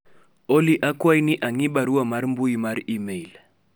Olly akwayi ni ang'i barua mar mbui mar email